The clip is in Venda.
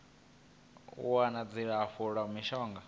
u wana dzilafho la mishonga